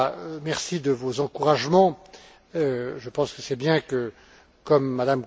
Pittella, merci de vos encouragements. Je pense que c'est bien que, comme M.